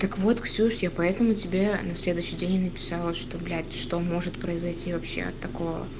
так вот ксюш я поэтому тебе на следующий день и написала что блять что может произойти вообще такого